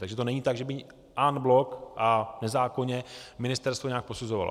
Takže to není tak, že by en bloc a nezákonně ministerstvo nějak posuzovalo.